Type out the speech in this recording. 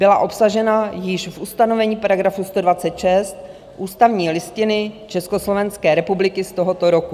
Byla obsažena již v ustanovení § 126 ústavní listiny Československé republiky z tohoto roku.